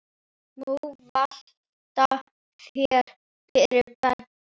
Nú valta þeir yfir Belga.